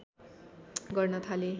गर्न थाले